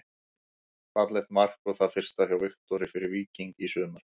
Fallegt mark og það fyrsta hjá Viktori fyrir Víking í sumar.